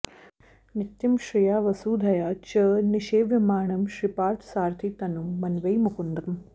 नित्यं श्रिया वसुधया च निषेव्यमाणं श्रीपार्थसारथितनुं मनवै मुकुन्दम्